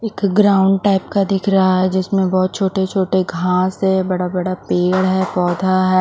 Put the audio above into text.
एक ground type का दिख रहा है जिसमें बहुत छोटे-छोटे घास है बड़ा-बड़ा पेड़ है पौधा है।